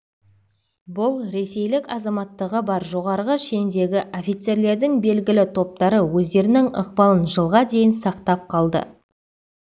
бұл ресейлік азаматтығы бар жоғарғы шендегі офицерлердің белгілі топтары өздерінің ықпалын жылға дейін сақтап қалды